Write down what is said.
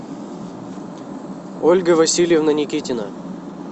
ольга васильевна никитина